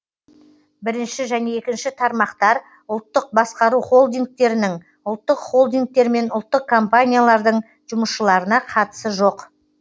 бірінші және екінші тармақтар ұлттық басқару холдингтерінің ұлттық холдингтер мен ұлттық компаниялардың жұмысшыларына қатысы жоқ